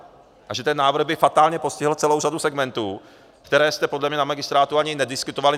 A že ten návrh by fatálně postihl celou řadu segmentů, které jste podle mě na magistrátu ani nediskutovali.